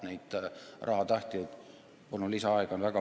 Neid rahatahtjaid on väga palju.